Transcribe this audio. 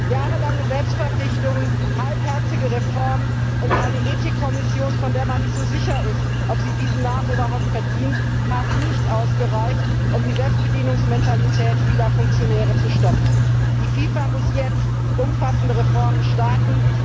Jahrelange Selbstverpflichtungen, halbherzige Reformen und eine Ethikkommission, von der man nicht so sicher ist, ob sie diesen Namen überhaupt verdient, haben nicht ausgereicht, um die Selbstbedienungsmentalität vieler Funktionäre zu stoppen. Die FIFA muss jetzt umfassende Reformen starten.